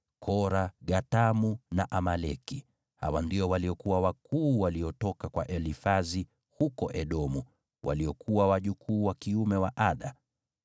Kora, Gatamu na Amaleki. Hawa ndio waliokuwa wakuu waliotoka kwa Elifazi huko Edomu, waliokuwa wajukuu wa kiume wa Ada.